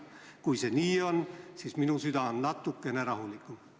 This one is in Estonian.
Kui see nii on, siis minu süda on natukene rahulikum.